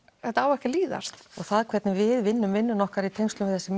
þetta á ekki að líðast og það hvernig við vinnum vinnuna okkar í tengslum við þessi